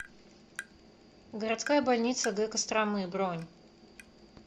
городская больница г костромы бронь